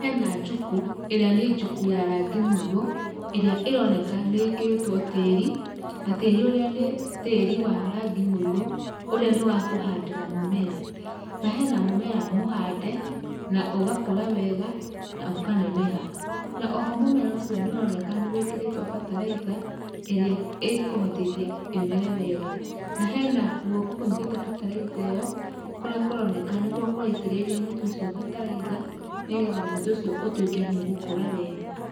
Hena juku ĩrĩa nĩ juku ya rangi mũiro ,ĩrĩa ĩroneka ĩkĩrĩtwo tĩri na tĩri ũrĩa nĩ tĩri wa rangi mũirũ, ũrĩa nĩwakũhandĩra mũmera na hena mũmera mũhande na ũgakũra wega na ũkaneneha na oho mũmera ũcio nĩũroneka nĩwĩkĩrĩtwe bataraitha ĩrĩa ĩkũhotithia ĩmere wega na hena guoko ũnyitĩteĩyo kũrĩa kũroneka kũraitĩrĩria mũtĩ ũcio bataraitha nĩgetha mũtĩ ũcio ũtũĩke nĩũgũkũra wega .